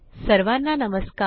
सर्वाना नमस्कार